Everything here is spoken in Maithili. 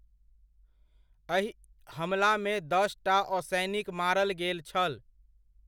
अहि हमलामे दसटा असैनिक मारल गेल छल।